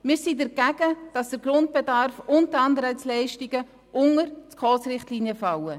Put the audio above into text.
Wir sind dagegen, dass der Grundbedarf und die Anreizleistungen unter die SKOS-Richtlinien fallen.